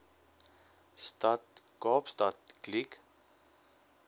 stad kaapstad kliek